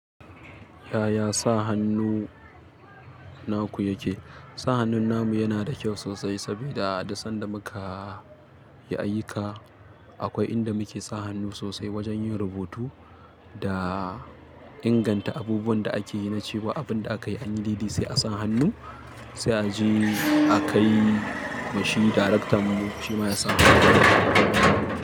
Yaya sa hannu naku yake? Sa hannu namu yana da kyau sosai sabida, duk sanda mukayi ayyuka. Akwai inda muke sa hannu sosai wajen yin rubutu da inganta abubuwan da akeyi, na cewa abinda akayi anyi daidai sai a sa hannu, sai aje akai ma shi darektan mu shima yasa hannu.